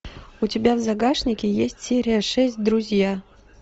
у тебя в загашнике есть серия шесть друзья